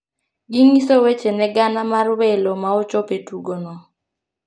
gi ngiso weche ne gana mar welo ma ochopo e tugo no